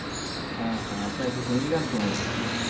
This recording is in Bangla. হ্যাঁ হ্যাঁ আপনারা কি হিন্দি গান শোনেন নাকি